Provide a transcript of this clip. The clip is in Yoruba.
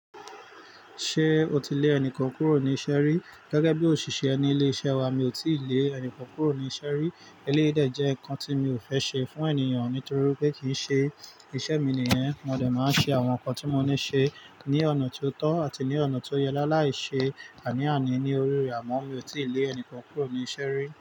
Ṣé o ti lé ẹni kankan kúrò ní iṣẹ́ rí? Gẹ́gẹ́ bí òṣìṣẹ́ ní ilé iṣẹ́ wa mi ò tíì lé ẹni kankan kúrò ní iṣẹ́ rí. Eléyìí jẹ́ nǹkan tí mi ò fẹ́ ṣe fún ènìyàn nítorí pé kì í ṣe iṣẹ́ mi nìyẹn. Mo dẹ̀ máa ń ṣe àwọn nǹkan tí mo ní ṣe ní ọ̀nà tí o tọ́ àti ní ọ̀nà ti ó yẹ láìlai ṣe àní-àní ní orí rẹ̀ àmọ́. Mi ò tíì lé ẹni kankan kúrò ní iṣẹ́ rí.